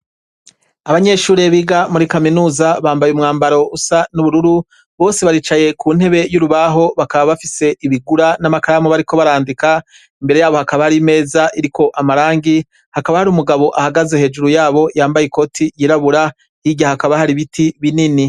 Abanyeshure biga muri kaminusa bambaye umwambaro usa n'ubururu bose baricaye ku ntebe y'urubaho bakaba bafise ibigura n'amakaramu bariko barandika imbere yabo hakaba hari imeza iriko amarangi hakaba hari umugabo ahagaze hejuru yabo yambaye i koti yirabura irya hakaba hari ibiti binini.